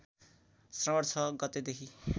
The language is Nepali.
श्रावण ६ गतेदेखि